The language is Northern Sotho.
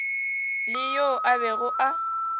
le yo a bego a